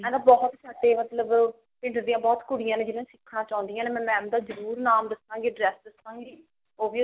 ਬਹੁਤ ਸਾਡੇ ਮਤਲਬ ਪਿੰਡ ਦੀਆਂ ਬਹੁਤ ਕੁੜੀਆਂ ਜਿਹੜੀਆਂ ਸਿੱਖਣੀਆਂ ਚਾਹੁੰਦੀਆਂ ਨੇ ਮੈਂ mam ਦਾ ਜਰੁਰ ਨਾਮ ਦੱਸਾਂ ਗੀ address ਦੱਸਾਗੀ